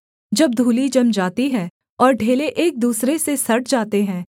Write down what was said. जब धूलि जम जाती है और ढेले एक दूसरे से सट जाते हैं